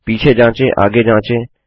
पीछे जाँचे आगे जाँचें